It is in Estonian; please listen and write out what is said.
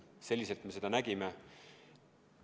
Selliselt me seda nägime.